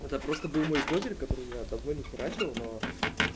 это просто был мой козырь который я давно не херачил но